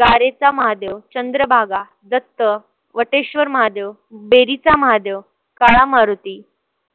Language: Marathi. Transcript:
गारेचा महादेव, चंद्रभागा, दत्त, वटेश्वर महादेव, डेरीचा महादेव, काळा मारुती,